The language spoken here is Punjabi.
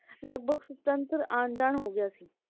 ਲਗਭਗ ਆਂ ਜਾਂ ਹੋ ਗਯਾ ਸੀ